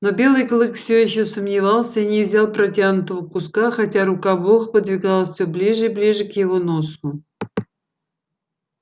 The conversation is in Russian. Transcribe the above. но белый клык всё ещё сомневался и не взял протянутого куска хотя рука бога подвигалась всё ближе и ближе к его носу